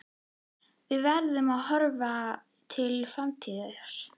Við verðum að horfa til framtíðar.